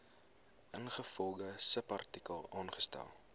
ingevolge subartikel aangestel